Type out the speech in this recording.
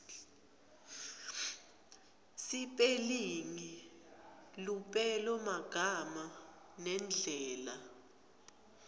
sipelingi lupelomagama nendlela